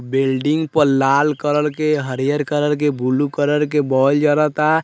Building पर लाल colour के हरिहर कलर के ब्लू कलर के बॉल जरता।